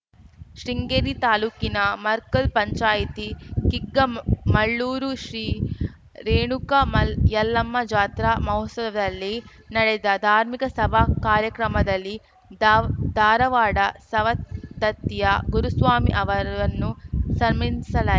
ಶೃಂಗೇರಿ ತಾಲೂಕಿನ ಮರ್ಕಲ್‌ ಪಂಚಾಯಿತಿ ಕಿಗ್ಗಾ ಮ ಮಳ್ಳುರು ಶ್ರೀ ರೇಣುಕಾ ಮಲ್ಲ ಯಲ್ಲಮ್ಮ ಜಾತ್ರಾ ಮಹೊತ್ಸವದಲ್ಲಿ ನಡೆದ ಧಾರ್ಮಿಕ ಸಭಾ ಕಾರ್ಯಕ್ರಮದಲ್ಲಿ ದಾವ್ ಧಾರವಾಡದ ಸವದತ್ತಿಯ ಗುರುಸ್ವಾಮಿ ಅವರನ್ನು ಸನ್ಮಾನಿಸಲಾ